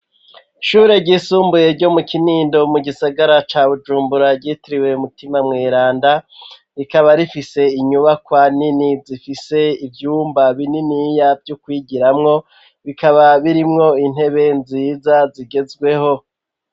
Ishure ryisumbuye ryo mu kinindo, mu gisagara ca bujumbura ryitiriwe umutima mweranda, rikaba rifise inyubakwa nini zifise ivyumba bininiya vy'okwigiramwo, bikaba birimwo intebe nziza zigezweho.